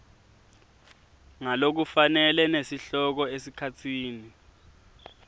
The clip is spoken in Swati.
ngalokufanele nesihloko esikhatsini